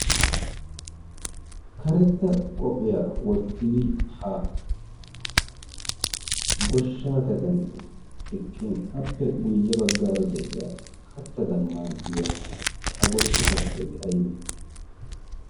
karetta qophiyaa wottidi ha goshsha kaden eqqin appe guyye baggaara de'iya kattadan maaddiya ha goshsha kattay aybe